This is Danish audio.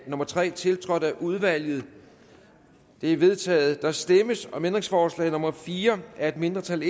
nummer tre tiltrådt af udvalget det er vedtaget der stemmes om ændringsforslag nummer fire af et mindretal